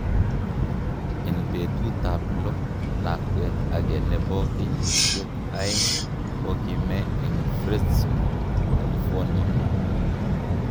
En petut ap lo, lakwet age nepo keyisiek aeg kokime en fresno California